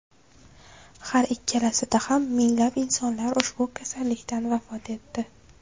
Har ikkalasida ham minglab insonlar ushbu kasallikdan vafot etdi .